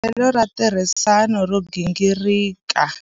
U na hanyelo ra ntirhisano ro gingirika.